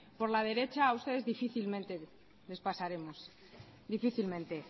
por la derecha a ustedes difícilmente les pasaremos difícilmente